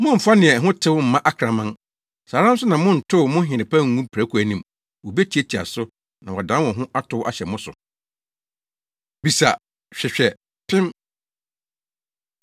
“Mommfa nea ɛho tew mma akraman. Saa ara nso na monntow mo nhene pa ngu mprako anim! Wobetiatia so, na wɔadan wɔn ho atow ahyɛ mo so. Bisa, Hwehwɛ, Pem